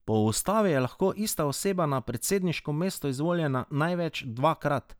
Po ustavi je lahko ista oseba na predsedniško mesto izvoljena največ dvakrat.